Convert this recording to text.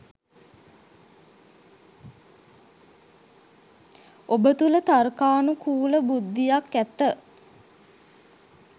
ඔබ තුල තර්කානු කූල බුද්ධියක් ඇත